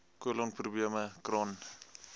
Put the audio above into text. kolon probleme crohn